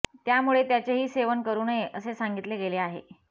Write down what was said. त्यामुळे त्याचेही सेवन करू नये असे सांगितले गेले आहे